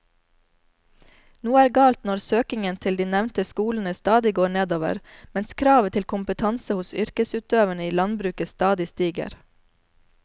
Noe er galt når søkningen til de nevnte skolene stadig går nedover mens kravet til kompetanse hos yrkesutøverne i landbruket stadig stiger.